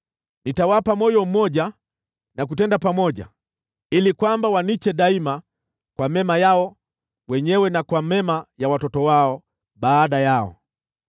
Nitawapa moyo mmoja na kutenda pamoja, ili kwamba waniche daima kwa mema yao wenyewe na kwa mema ya watoto wao baada yao.